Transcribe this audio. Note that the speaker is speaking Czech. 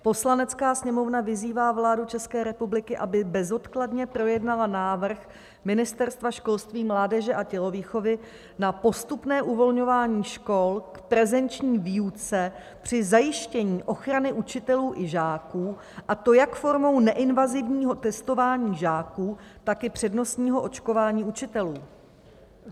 "Poslanecká sněmovna vyzývá vládu České republiky, aby bezodkladně projednala návrh Ministerstva školství, mládeže a tělovýchovy na postupné uvolňování škol k prezenční výuce při zajištění ochrany učitelů i žáků, a to jak formou neinvazivního testování žáků, tak i přednostního očkování učitelů."